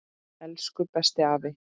Elsku besti afi.